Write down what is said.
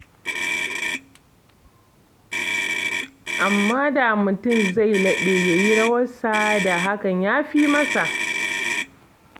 Amma da mutum zai laɓe ya yi rawarsa, da hakan ya fi masa.